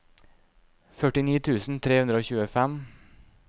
førtini tusen tre hundre og tjuefem